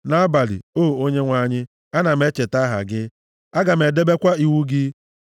Nʼabalị, o Onyenwe anyị, ana m echeta aha gị, aga m edebekwa iwu gị.